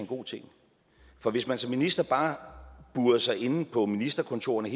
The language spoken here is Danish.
god ting for hvis man som minister bare burede sig inde på ministerkontorerne